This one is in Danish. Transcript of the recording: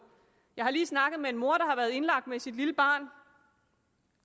jeg har lige snakket med en mor har været indlagt med sit lille barn